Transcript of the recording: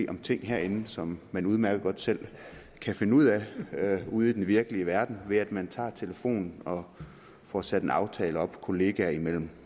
om ting herinde som man udmærket godt selv kan finde ud af ude i den virkelige verden ved at man taget telefonen og fået sat en aftale op kollegaer imellem